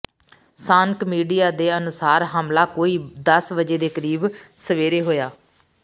ਸਾਂਨਕ media ਦੇ ਅਨੁਸਾਰ ਹਮਲਾ ਕੋਈ ਦਸ ਵਜੇ ਦੇ ਕਰੀਬ ਸਵੇਰੇ ਹੋਇਆ